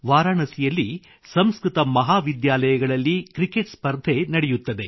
ವಾರಾಣಸಿಯಲ್ಲಿ ಸಂಸ್ಕೃತ ಮಹಾವಿದ್ಯಾಲಯಗಳಲ್ಲಿ ಕ್ರಕೆಟ್ ಸ್ಪರ್ಧೆ ನಡೆಯುತ್ತದೆ